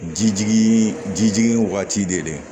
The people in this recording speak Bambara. Jijigin jijigin waati de